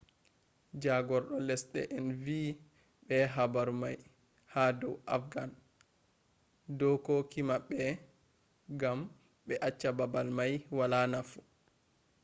jagordo lesde en vi be habar mai ha dou afghan dokoki mabbe gam be acce babal mai wala nafu